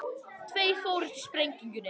Tveir fórust í sprengingunni